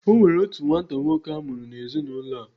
Onwere otu nwata nwoke amuru na ezi na ulo.